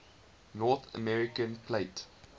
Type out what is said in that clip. north american plate